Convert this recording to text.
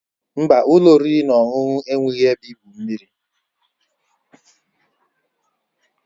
Mba, ụlọ oriri na ọṅụṅụ enweghị ebe igwu mmiri.